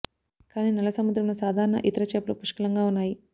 కానీ నల్ల సముద్రం లో సాధారణ ఇతర చేపలు పుష్కలంగా ఉన్నాయి